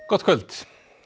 gott kvöld